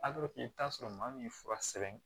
i bɛ t'a sɔrɔ maa min ye fura sɛbɛn